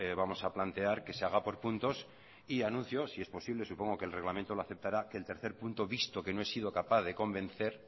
vamos a plantear que se haga por puntos y anuncio si es posible supongo que el reglamento lo aceptará el tercer punto visto que no he sido capaz de convencer